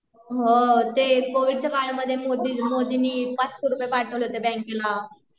ते कोविडच्या बारेमध्ये मोदीनी ५००रूपये पाठवले होते बँकेला